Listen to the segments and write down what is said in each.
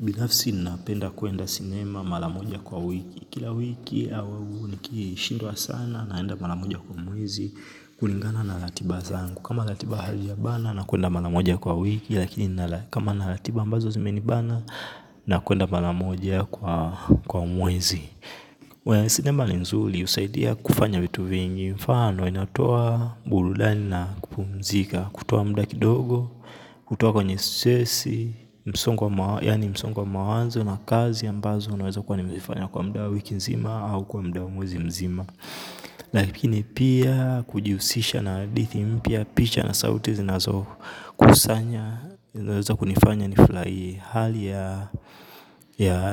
Binafsi ninapenda kuenda cinema maramoja kwa wiki. Kila wiki au nikishindwa sana naenda maramoja kwa mwezi kulingana na ratiba zangu. Kama ratiba halija bana na kuenda maramoja kwa wiki lakini kama na ratiba ambazo zimenibana na kuenda maramoja kwa mwezi. Well cinema ni nzuri husaidia kufanya vitu vingi. Mfano inatoa burudani na kupumzika. Kutoa muda kidogo, kutoa kwenye stressi yaani msongo wa mawanzo na kazi ambazo naweza kuwa nimeifanya kwa muda wa wiki nzima au kwa muda wa mwezi mzima. Lakini pia kujihusisha na hadithi mpya, picha na sauti zinazokusanya, zinaweza kunifanya nifurahie. Hali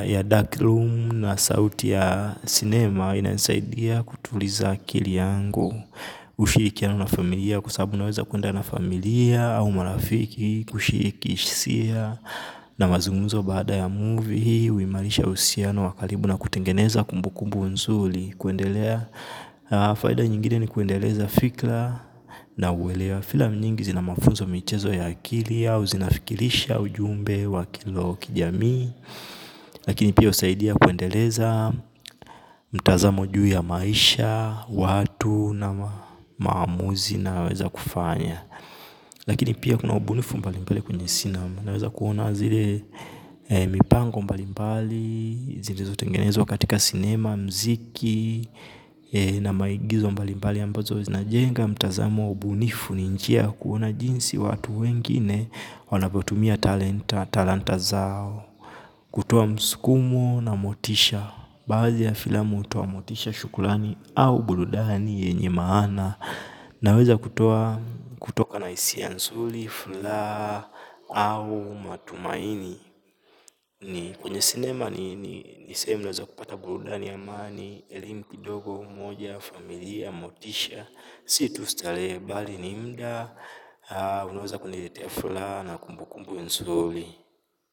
ya dark room na sauti ya sinema inanisaidia kutuliza akili yangu. Ushirikiano na familia kwa sababu naweza kuenda na familia au marafiki kushiriki hisia na mazungumzo baada ya movie, huimarisha uhusiano wa karibu na kutengeneza kumbukumbu nzuri kuendelea. Faida nyingine ni kuendeleza fikra na uelewa, filamu nyingi zina mafunzo michezo ya akili au zinafikirisha ujumbe wa kilo kijamii lakini pia husaidia kuendeleza mtazamo juu ya maisha, watu na maamuzi unaoweza kufanya. Lakini pia kuna ubunifu mbalimbali kwenye sinema. Naweza kuona zile mipango mbalimbali zilizo tengenezwa katika sinema, muziki na maigizo mbalimbali ambazo zinajenga mtazamo, ubunifu ni njia ya kuona jinsi watu wengine wanapotumia talanta zao kutoa msukumo na motisha. Baadhi ya filamu hutoa motisha, shukurani au burudani yenye maana. Naweza kutoka na hisia nzuri, furaha au matumaini. Kwenye sinema ni ni sehemu naweza kupata burudani ya amani, elimu kidogo, moja, familia, motisha. Si tu starehe bali ni muda, unaweza kuniletea furaha na kumbukumbu nzuri.